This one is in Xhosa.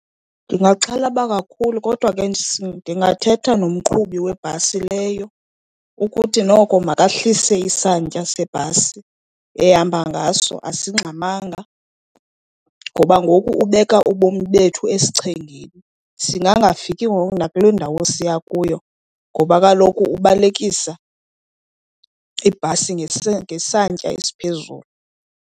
Ndingaxhalaba kakhulu kodwa ke ndingathetha nomqhubi webhasi leyo ukuthi noko makehlise isantya sebhasi ehamba ngaso asingxamanga, ngoba ngoku ubeka ubomi bethu esichengeni. Sisingafiki ngoku nakule ndawo siya kuyo ngoba kaloku ubalekisa ibhasi ngesantya esiphezulu.